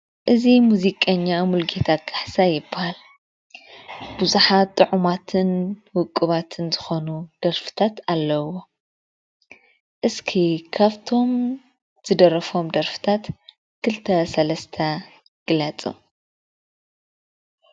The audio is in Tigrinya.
እዚ ሙዚቀኛ ሙሉጌታ ካሕሳይ ይበሃል፡፡ ብዙሓት ጥዑማትን ውቁባትን ዝኾኑ ደርፍታት ኣለዉዎ፡፡ እስቲ ካብቶም ዝደረፎም ደርፍታት ክልተ ሰለስተ ግለፁ?